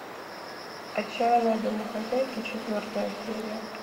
отчаянные домохозяйки четвертая серия